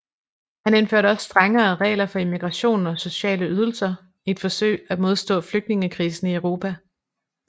Han indførte også strengere regler for immigration og sociale ydelser i et forsøg at modstå flygtningekrisen i Europa